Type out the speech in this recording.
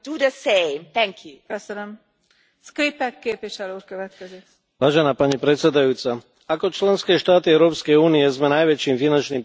Pani predsedajúca, ako členské štáty Európskej únie sme najväčším finančným prispievateľom do systému OSN, čo je asi 50 všetkých príspevkov.